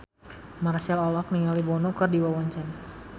Marchell olohok ningali Bono keur diwawancara